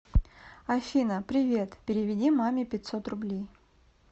афина привет переведи маме пятьсот рублей